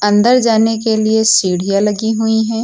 अंदर जाने के लिए सीढ़ियां लगी हुई है।